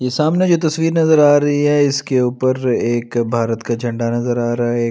ये सामने जो तस्वीर नजर आ रही है इसके ऊपर एक भारत का झंडा नजर आ रहा है।